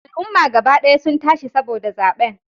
Al'umma gaba daya sun tashi saboda zaben